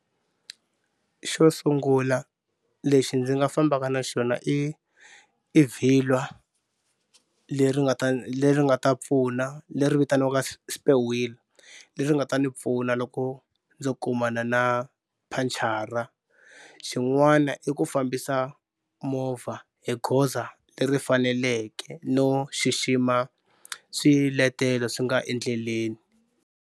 Xo sungula lexi ndzi nga fambaka na xona i i vhilwa leri nga ta leri nga ta pfuna leri vitaniwaka spare wheel leri nga ta ni pfuna loko ndzo kumana na phanchara. Xin'wana i ku fambisa movha hi goza leri faneleke no xixima swiletelo swi nga endleleni.